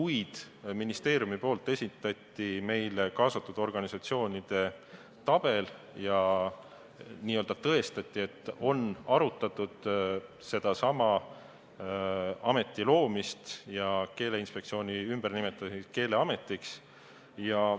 Aga ministeerium esitas meile kaasatud organisatsioonide tabeli, mis tõestas, et selle ameti loomist ja Keeleinspektsiooni ümbernimetamist Keeleametiks on nendega arutatud.